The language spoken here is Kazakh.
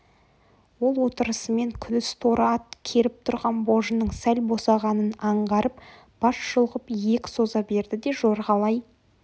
ол отырысымен күдіс торы ат керіп тұрған божының сәл босағанын аңғарып бас шұлғып иек соза берді де жорғалай